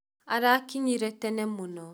Arakĩnyĩre tene mũno.